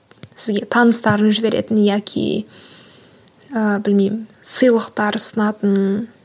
сізге таныстарын жіберетін яки ыыы білмеймін сыйлықтар ұсынатын